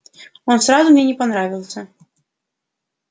он сразу мне не понравился